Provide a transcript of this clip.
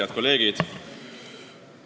Head kolleegid!